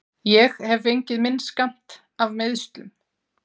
Ég hef fengið minn skammt af meiðslum.